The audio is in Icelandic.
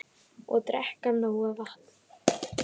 Og drekka nóg vatn.